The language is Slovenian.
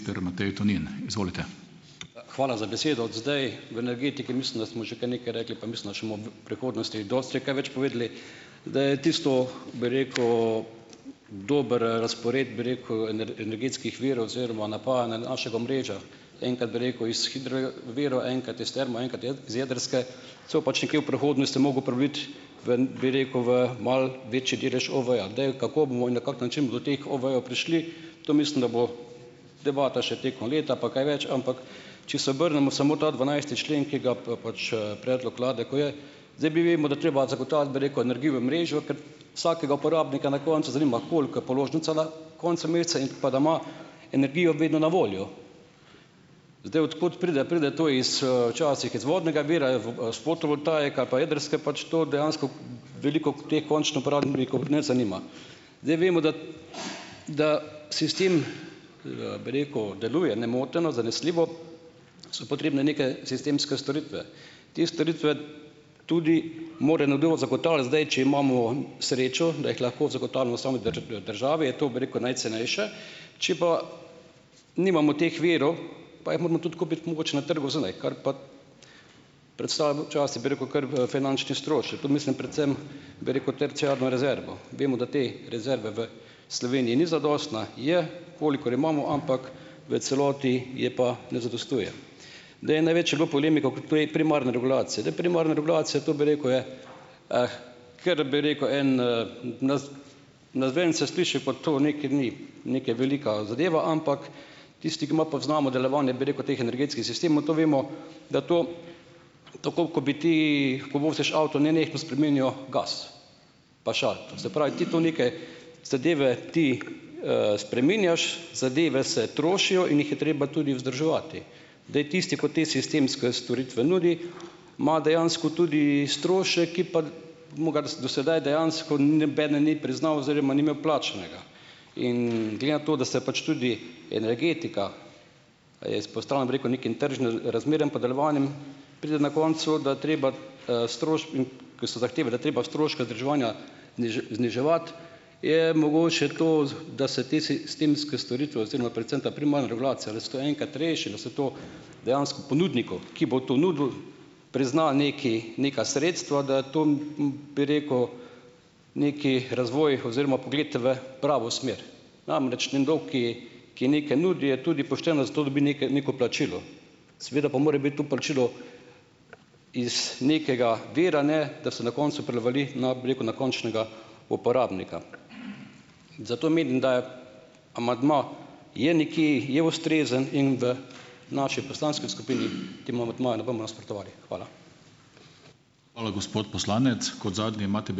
Hvala za besedo. Zdaj, od energetike mislim, da smo že kar nekaj rekli, pa mislim, da še bomo v prihodnosti dosti kaj več povedali. Da je tisto, bi rekel, dober razpored, bi rekel, energetskih virov oziroma napajanja našega omrežja. Enkrat bi rekel iz hidro virov, enkrat iz termo, enkrat iz jedrske, se bo pač nekje v prihodnosti mogel priviti v, bi rekel, v malo večji delež OVE-ja. Zdaj, kako bomo in na kak način bomo do teh OVE-jev prišli, to, mislim, da bo debata še tekom leta pa kaj več, ampak če se obrnemo samo ta dvanajsti člen, ki ga pač predlog vlade, ko je. Zdaj mi vemo, da je treba zagotavljati, bi rekel, energijo v omrežju, ker vsakega uporabnika na koncu zanima, koliko je položnica na koncu meseca in pa da ima energijo vedno na voljo. Zdaj, od kod pride, pride to iz, včasih iz vodnega vira, v, s fotovoltaike ali pa jedrske, pač to dejansko veliko teh končnih uporabnikov ne zanima. Zdaj, vemo, da da sistem, bi rekel, deluje nemoteno, zanesljivo. So potrebne neke sistemske storitve. Te storitve tudi mora nekdo zagotavljati. Zdaj, če imamo srečo, da jih lahko zagotavljamo v sami državi, je to, bi rekel, najcenejše, če pa nimamo teh virov, pa jih moramo tudi kupiti mogoče na trgu zunaj, kar pa predstavlja včasih, bi rekel, kar v finančni strošek. Mislim predvsem, bi rekel, terciarno rezervo. Vemo, da te rezerva v Sloveniji ni zadostna, je, kolikor je imamo, ampak v celoti je pa ne zadostuje. Zdaj največ je bilo polemik primarne regulacije. Zdaj, primarna regulacija to, bi rekel, je, kar, bi rekel, en - navzven se sliši pa to nekaj ni neka velika zadeva, ampak tisti, ki malo poznamo delovanje, bi rekel, teh energetskih sistemov, to vemo, da to tako kot bi ti, ko voziš avto, nenehno spreminjal gas, pa "šaltal". Se pravi, ti to neke zadeve ti, spreminjaš, zadeve se trošijo in jih je treba tudi vzdrževati. Zdaj, tisti, ko te sistemske storitve nudi, ima dejansko tudi strošek, ki pa mu ga do sedaj dejansko nobeden ni priznal oziroma ni imel plačanega. In glede na to, da se pač tudi energetika, je izpostavljena, bi rekel, nekim tržnim razmeram pa delovanjem, pride na koncu, da treba, ker se zahteva, da je treba stroške vzdrževanja, zniževati, je mogoče to, da se te sistemske storitve oziroma predvsem ta primarna regulacija, da se to enkrat reši, da se to dejansko ponudniku, ki bo to nudil, prizna nekaj neka sredstva, da to, bi rekel, neki razvoj oziroma pogled v pravo smer. Namreč nekdo, ki ki nekaj nudi, je tudi pošteno, za to dobi neke neko plačilo. Seveda pa mora biti to plačilo iz nekega vira, ne da se na koncu prelivali na, bi rekel, na končnega uporabnika. Zato menim, da je amandma je nekje, je ustrezen in da v naši poslanski skupini temu amandmaju ne bomo nasprotovali. Hvala.